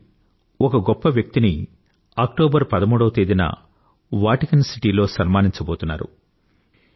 అలాంటి గొప్ప వ్యక్తి ఒకరిని అక్టోబర్ 13వ తేదీన వాటికన్ సిటీ లో సన్మానించబోతున్నారు